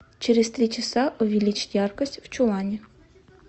через три часа увеличить яркость в чулане